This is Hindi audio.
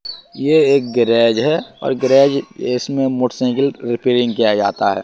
ये एक गेराज है और गेराज इसमें मोटरसाइकिल रिपेयरिंग किया जाता है।